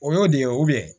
O y'o de ye